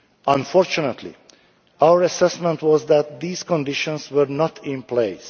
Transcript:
met. Unfortunately, our assessment was that these conditions were not in place.